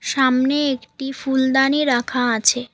সামনে একটি ফুলদানি রাখা আছে।